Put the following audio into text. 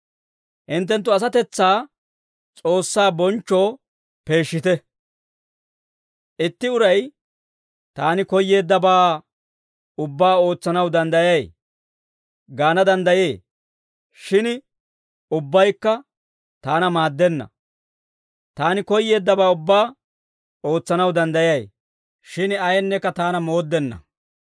Itti uray, «Taani koyyeeddabaa ubbaa ootsanaw danddayay» gaana danddayee. Shin ubbaykka taana maaddenna. Taani koyyeeddabaa ubbaa ootsanaw danddayay. Shin ayeenneekka taana mooddenna.